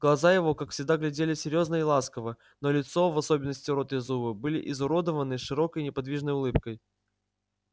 глаза его как всегда глядели серьёзно и ласково но лицо в особенности рот и зубы были изуродованы широкой неподвижной улыбкой